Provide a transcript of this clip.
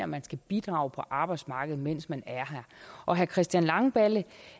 man skal bidrage på arbejdsmarkedet mens man er her og herre christian langballe